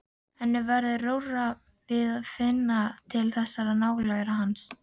Henni verður rórra að finna til þessarar nálægðar hans.